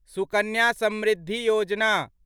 Sukanya Samriddhi Yojana